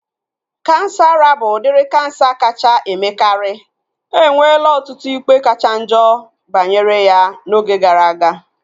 Kansa ara bụ udiri kansa kacha emekari. Enwela ọtụtụ ikpe kachanjo banyere ya na oge gara aga